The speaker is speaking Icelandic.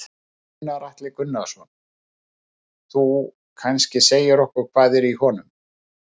Gunnar Atli Gunnarsson: Þú kannski segir okkur hvað er í honum?